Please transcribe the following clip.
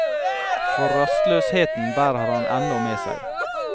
For rastløsheten bærer han ennå med seg.